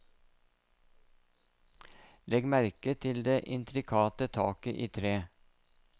Legg merke til det intrikate taket i tre.